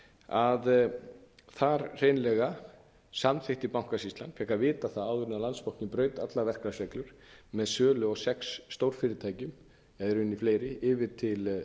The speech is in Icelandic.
að þar hreinlega samþykkti bankasýslan fékk að vita það áður en landsbankinn braut allar verklagsreglur með sölu á sex stórfyrirtækjum eða í rauninni fleirum yfir til